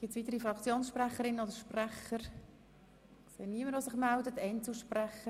Gibt es weitere Fraktionssprecherinnen oder Fraktionssprecher?